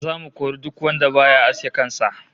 Zamu kori duk wanda baya aske kan sa